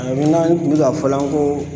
Ayi min na n kun bɛ ka fɔla n ko